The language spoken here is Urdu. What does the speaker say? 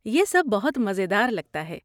یہ سب بہت مزیدار لگتا ہے۔